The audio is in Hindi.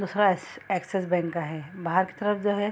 दूसरा एस एक्सिस बैंक का है बाहर की तरफ जो है।